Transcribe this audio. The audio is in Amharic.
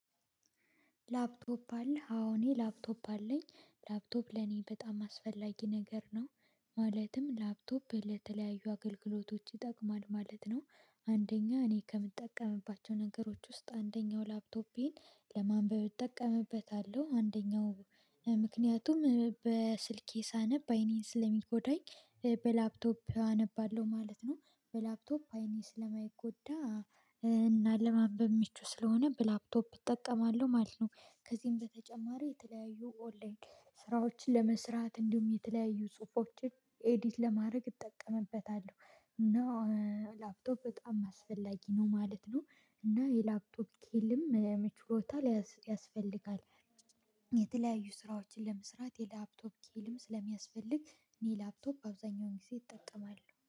ላፕቶፕ አለህ? አዎ እኔ ላፕቶፕ አለኝ ላፕቶፕ ለኔ በጣም አስፈላጊ ነገር ነው ማለትም ላፕቶፕ ለተለያዩ አገልግሎቶች ይጠቅማል ማለት ነው። አንደኛ እኔ ከምጠቀምባቸው ነገሮች ውስጥ አንደኛው ላፕቶፔን ለማንበብ እጠቀምበታለሁ አንደኛው ምክንያቱም በስልኬ ሳነብ አይኔን ስለሚጎዳኝ በላፕቶፕ አነባለሁ ማለት ነው። በላፕቶፕ አይኔ ስለማይጎዳ እና ለማንበብ ምቹ ስለሆነ በላፕቶፕ እጠቀማለሁ ማለት ነው። ከዚህም በተጨማሪ የተለያዩ ኦንላይን ስራዎችን ለመስራት እንዲሁም የተለያዩ ጽሁፎችን ኤዲት ለማድረግ እጠቀምበታለሁ። እና ላፕቶፕ በጣም አስፈላጊ ነው ማለት ነው። እና የላፕቶፕ ስኪልም ችሎታ ያስፈልጋል። የተለያዩ ስራዎችን ለመስራት የላፕቶፕ ስኪልም ስለሚያስፈልግ እኔ ላፕቶፕ አብዛኛውን ጊዜ እጠቀማለሁ